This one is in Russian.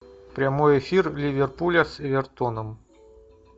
прямой эфир ливерпуля с эвертоном